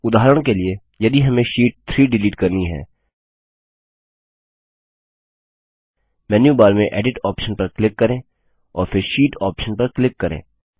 उदाहरण के लिए यदि हमें शीट 3 डिलीट करनी है मेन्यूबार में एडिट ऑप्शन पर क्लिक करें और फिर शीट ऑप्शन पर क्लिक करें